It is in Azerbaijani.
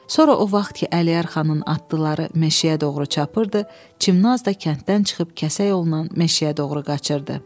Sonra o vaxt ki, Əliyər xanın atdıqları meşəyə doğru çapırdı, Çimnaz da kənddən çıxıb kəsə yolla meşəyə doğru qaçırdı.